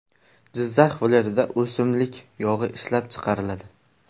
Jizzax viloyatida o‘simlik yog‘i ishlab chiqariladi.